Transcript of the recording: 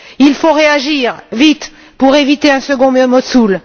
Il faut réagir vite pour éviter un second Mossoul.